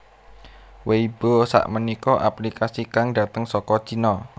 Weibo sakmenika aplikasi kang dateng saka Cino